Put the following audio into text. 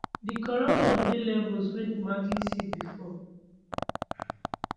di corruption dey levels wey dem hardly see before